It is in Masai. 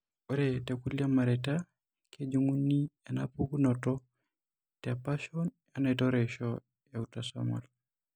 Ore tekulo mareita kejung'uni enapukunoto tepashon enaitoreisho eautosomal.